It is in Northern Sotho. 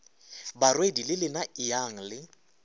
barwedi le lena eyang le